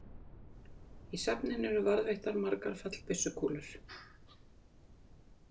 Í safninu eru og varðveittar margar fallbyssukúlur.